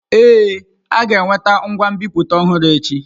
Ee, a ga-eweta ngwa nbipute ọhụrụ echi.